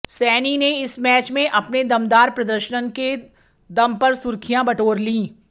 सैनी ने इस मैच में अपने दमदार प्रदर्शन के दम पर सुर्खियां बटोर लीं